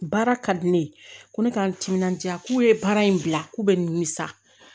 Baara ka di ne ye ko ne k'an timinandiya k'u ye baara in bila k'u bɛ na nimisa